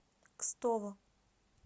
кстово